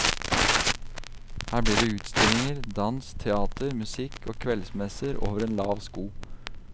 Her blir det utstillinger, dans, teater, musikk og kveldsmesser over en lav sko.